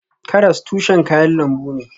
Karas tushen kayan lambu ne.